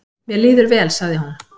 """Mér líður vel, sagði hún."""